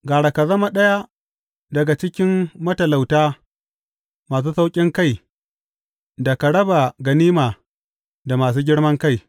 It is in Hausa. Gara ka zama ɗaya daga cikin matalauta masu sauƙinkai, da ka raba ganima da masu girman kai.